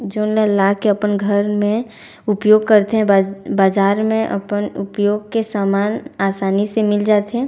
जोनला ला के पन घर में उपयोग करथे बज बाजार में अपन उपयोग के सामान आसानी से मिल जाथे--